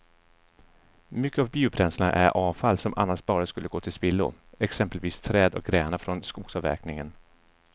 Mycket av biobränslena är avfall som annars bara skulle gå till spillo, exempelvis träd och grenar från skogsavverkningen.